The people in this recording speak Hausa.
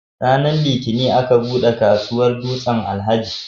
Ranar Litinin aka buɗe kasuwar Dutsen-Alhaji.